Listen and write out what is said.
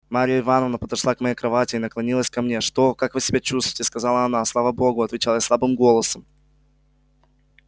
марья ивановна подошла к моей кровати и наклонилась ко мне что как вы себя чувствуете сказала она слава богу отвечал я слабым голосом